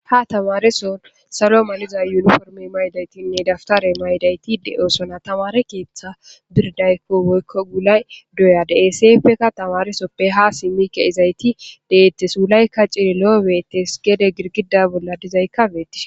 ha tamareso salo maliza yuniformi maydaytinne daftare maydayti de7oosona tamare keeththa birdaykko woykko gulay doya de eseppeka tamaresoppe ha simmike izayti deettes uulaykka ciri lo7o beettes gede girgida bolla dizaykka beetti